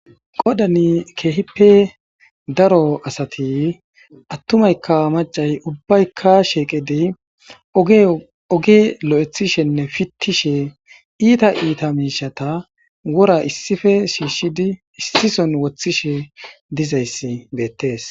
Qoodan kehippe daaro assati attumaykka maccay ubbayka shiqqidi ogge lo'aththishenne pittishe iitta iitta mishshata wora issippe shishidi issison woththishe diizayssi bettes.